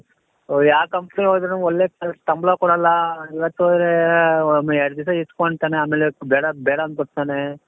ಓ ಯಾವ companyಗೆ ಹೋದ್ರುನು ಒಳ್ಳೆ ಸಂಬಳ ಕೊಡಲ್ಲ ಇವತ್ತು ಹೋದರೆ ಒಂದೆರಡು ದಿವಸ ಇಟ್ಕೊಳ್ತಾನೆ ಆಮೇಲೆ ಬೇಡ ಬೇಡ ಅಂತ ಹೋಗ್ತಾನೆ .